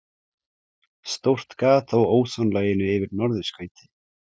Stórt gat á ósonlaginu yfir norðurskauti